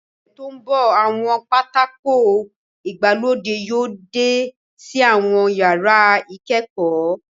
Ní ọ̀sẹ̀ tó ń bọ̀, àwọn pátákó ìgbàlódé yóò dé sí àwọn yàrá ìkẹ́kọ̀ọ́